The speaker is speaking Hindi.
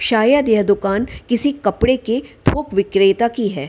शायद यह दुकान किसी कपड़े की थोक विक्रेता की है।